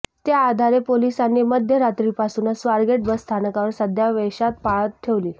त्या आधारे पोलिसांनी मध्यरात्रीपासूनच स्वारगेट बसस्थानकावर साध्या वेशात पाळत ठेवली